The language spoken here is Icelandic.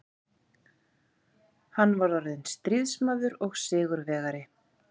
Hann var orðinn stríðsmaður og sigurvegari.